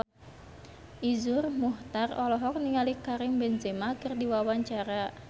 Iszur Muchtar olohok ningali Karim Benzema keur diwawancara